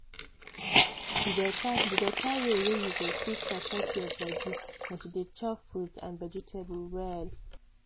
the beta the beta way wey you go fit support your body na to dey chop fruit and vegetable well.